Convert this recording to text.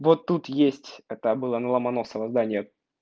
вот тут есть это было на ломоносова здание